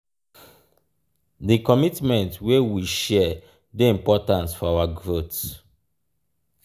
di commitment wey we share dey important for our growth.